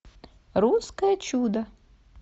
русское чудо